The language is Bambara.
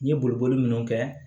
N ye boli boli min kɛ